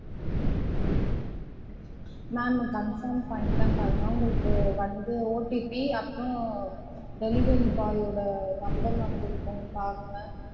Ma'am confirm பண்ணிட்டேன் பாருங்க உங்களுக்கு வந்து OTP அப்றம் delivery boy ஓட number வந்துருக்கும் பாருங்க